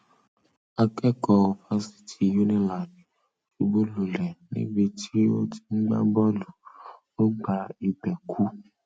akẹkọọ fásitì unilag ṣubúlulẹ níbi tó ti ń gbá bọọlù ó gba ibẹ kú